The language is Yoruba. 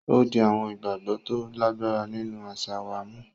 O di awọn ìgbàgbọ to lagbara nínú aṣa wà mú.